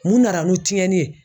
Mun nana ni tiɲɛni ye ?